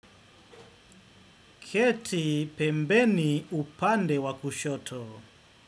Kiti pembeni upande wa kushoto.